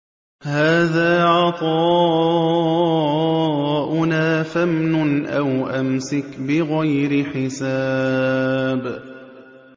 هَٰذَا عَطَاؤُنَا فَامْنُنْ أَوْ أَمْسِكْ بِغَيْرِ حِسَابٍ